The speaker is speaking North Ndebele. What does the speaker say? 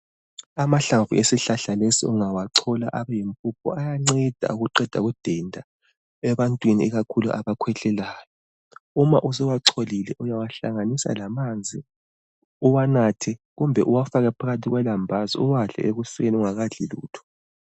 Amahlamvu esihlahla lesi ungawachola abe yimpuphu ayanceda ukuqeda udenda ebantwini ikakhulu abakhwehlelayo, uma usuwacholile uyawahlanganisa lamanzi uwanathe kumbe uwafake phakathi kwelambazi uwadle ekuseni ungakadli lutho.